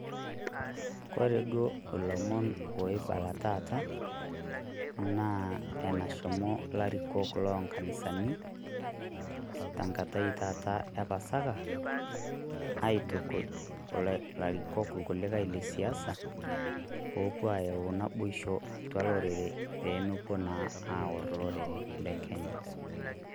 Ore duo oibala taata, naa enashomo larikok lonkanisani tenkata taata e pasaka, aitukuj ilarikok kulikai le siasa pewuo ayau naboisho olorere pee mewuo naa aor lorere le Kenya.